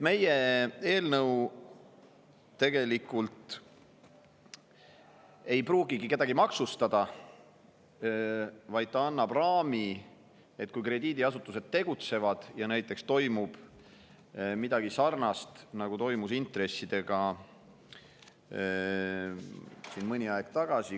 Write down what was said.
Meie eelnõu ei pruugigi kedagi maksustada, ta annab raami selleks puhuks, kui krediidiasutused tegutsevad ja näiteks toimub midagi sarnast, nagu toimus intressidega mõni aeg tagasi.